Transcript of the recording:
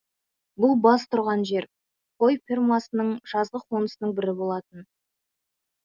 бұл баз тұрған жер қой фермасының жазғы қонысының бірі болатын